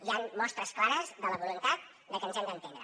hi han mostres clares de la voluntat que ens hem d’entendre